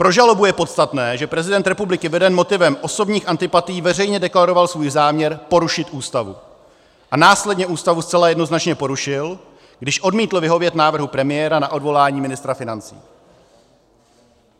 Pro žalobu je podstatné, že prezident republiky veden motivem osobních antipatií veřejně deklaroval svůj záměr porušit Ústavu a následně Ústavu zcela jednoznačně porušil, když odmítl vyhovět návrhu premiéra na odvolání ministra financí.